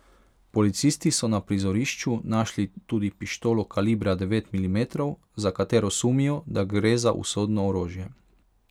Policisti so na prizorišču našli tudi pištolo kalibra devet milimetrov, za katero sumijo, da gre za usodno orožje.